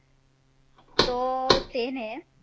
તો તેને